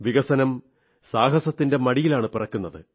വികസനം സാഹസത്തിന്റെ മടിയിലാണു പിറക്കുന്നത്